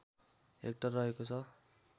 hectare रहेको छ